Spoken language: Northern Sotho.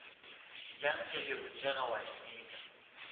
bjang ge le rutega oanteka